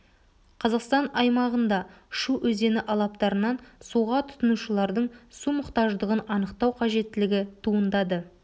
қазақстан аймағында шу өзені алаптарынан суға тұтынушылардың су мұқтаждығын анықтау қажеттілігі туындады